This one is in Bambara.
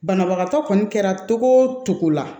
Banabagatɔ kɔni kɛra togo o togo la